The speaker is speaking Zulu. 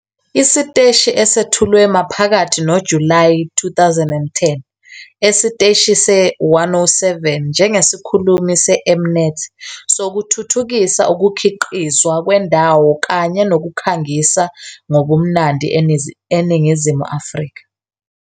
Isiteshi esethulwe maphakathi noJulayi 2010 esiteshini se-107 njengesikhulumi se-M-Net sokuthuthukisa ukukhiqizwa kwendawo kanye nokukhangisa ngobumnandi eNingizimu Afrika.